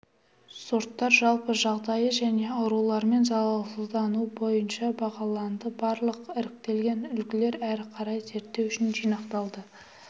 сорттар жалпы жағдайы және аурулармен залалдануы бойынша бағаланды барлық іріктелген үлгілер әрі қарай зерттеу үшін жинақталды